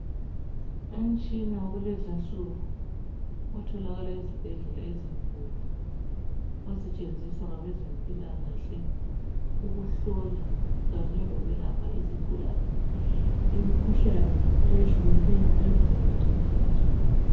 Umtshina wakulezi insuku otholakala ezibhedlela ezinkulu osetshenziswa ngabezempilakahle ukuhlola kanye lokwelapha izigulane imikhuhlane eyehlukeneyo emizimbeni yazo.